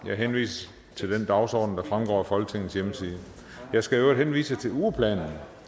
jeg henviser til den dagsorden der fremgår af folketingets hjemmeside jeg skal i øvrigt henvise til ugeplanen